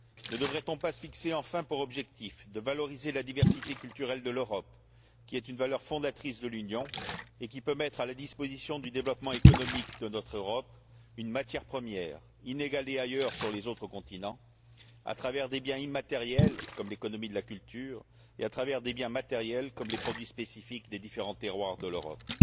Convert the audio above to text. Ne devrait on pas se fixer enfin pour objectif de valoriser la diversité culturelle de l'Europe, qui est une valeur fondatrice de l'Union et qui peut mettre à la disposition du développement économique de notre Europe une matière première inégalée ailleurs sur les autres continents, à travers des biens immatériels comme l'économie de la culture, et à travers des biens matériels comme les produits spécifiques des différents terroirs de l'Europe?